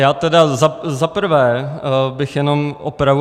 Já tedy za prvé bych jenom opravu.